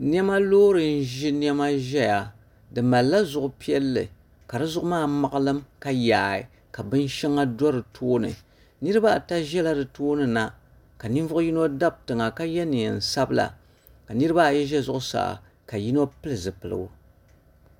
Niɛma loori n ʒi niɛma ʒɛya di malila zuɣu piɛlli ka di zuɣu maa maɣalim ka yaai ka bin shɛŋa do di tooni niraba ata ʒɛla di tooni na ka ninvuɣu yino dabi tiŋa ka yɛ neen sabila ka niraba ayi ʒɛ zuɣusaa ka ninvuɣu yino pili zipiligu